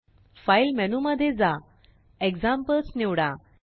file menu मध्ये जा Examplesनिवडा